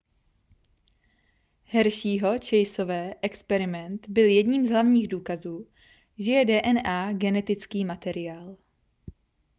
hersheyho-chaseové experiment byl jedním z hlavních důkazů že je dna genetický materiál